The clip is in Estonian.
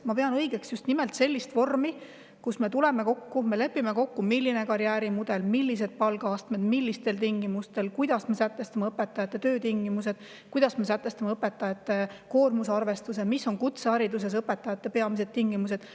Ma pean õigeks just nimelt sellist vormi, kus me tuleme ja lepime kokku, milline on karjäärimudel, millised on palgaastmed, kuidas me sätestame õpetajate töötingimused, kuidas me sätestame õpetajate koormusarvestuse, millised on õpetajate tingimused kutsehariduses.